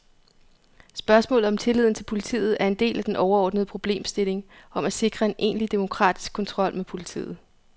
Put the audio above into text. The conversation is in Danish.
Spørgsmålet om tilliden til politiet er en del af den overordnede problemstilling om at sikre en egentlig demokratisk kontrol med politiet.